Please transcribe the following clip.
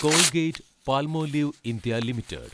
Colgate-Palmolive India limited